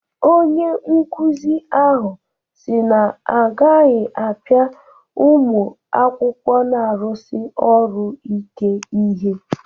Onye nkuzi ahụ si na ọ agaghị apịa ụmụ akwụkwọ na-arụsi ọrụ ike ihe.